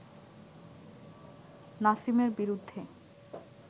নাসিমের বিরুদ্ধে